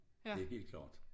Det helt klart